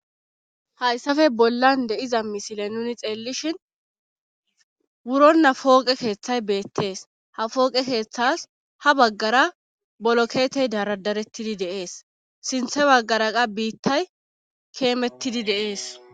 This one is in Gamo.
Hayssape bollan de7iza misile nuni xeellishin wuronna fooqe keeththay beettees ha fooqe keeththas ha baggara bolo keetey daradarettidi deees sinthe baggaraqa biittay keemettidi deees